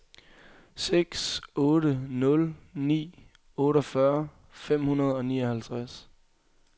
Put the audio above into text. seks otte nul ni otteogfyrre fem hundrede og nioghalvtreds